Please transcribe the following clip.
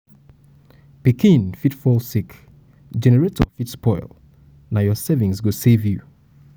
pikin fit fall sick generator fit spoil na your savings go save you. go save you.